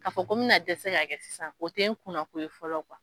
Ka fɔ ko bɛna na dɛsɛ' kɛ sisan o tɛ kuna ko ye fɔlɔ